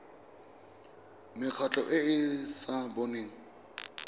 mekgatlho e e sa boneng